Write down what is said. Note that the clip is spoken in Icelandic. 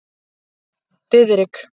Diðrik